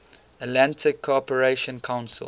atlantic cooperation council